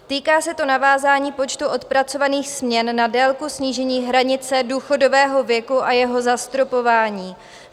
Týká se to navázání počtu odpracovaných směn na délku snížení hranice důchodového věku a jeho zastropování.